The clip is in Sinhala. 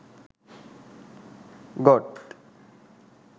goat